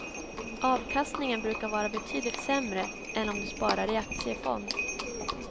Avkastningen brukar vara betydligt sämre än om du sparar i aktiefond.